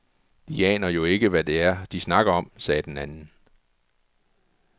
De aner jo ikke, hvad det er, de snakker om, sagde den anden.